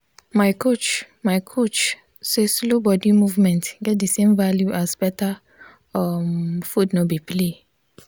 my coach my coach say slow body movement get the same value as better um food no be play.